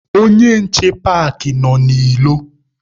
Onye nche paakị nọ n'ilo.